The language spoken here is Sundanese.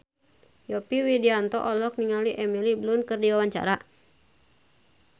Yovie Widianto olohok ningali Emily Blunt keur diwawancara